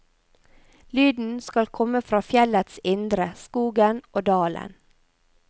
Lyden skal komme fra fjellets indre, skogen og dalen.